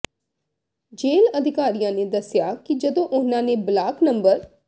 ਜੇਲ੍ਹ ਅਧਿਕਾਰੀਆਂ ਨੇ ਦੱਸਿਆ ਕਿ ਜਦੋਂ ਉਨ੍ਹਾਂ ਨੇ ਬਲਾਕ ਨੰ